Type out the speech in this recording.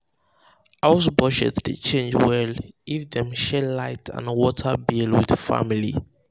house budget dey change well if dem share light and water bill with family.